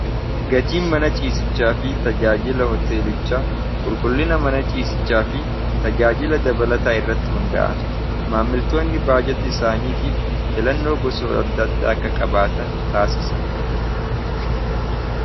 Gatiin mana ciisichaa fi tajaajila hoteelicha qulqullina mana ciisichaa fi tajaajila dabalataa irratti hunda'a maammiltoonni baajata isaaniitiif filannoo gosa adda adda akka qabaatan taasisan.